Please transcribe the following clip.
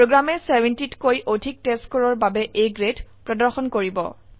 প্ৰোগ্ৰামে 70 তকৈ অধিক testScoreৰ বাবে A গ্ৰেড প্ৰদৰ্শন কৰিব